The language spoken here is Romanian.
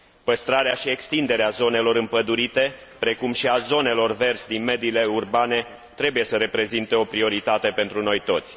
Păstrarea și extinderea zonelor împădurite, precum și a zonelor verzi din mediile urbane trebuie să reprezinte o prioritate pentru noi toți.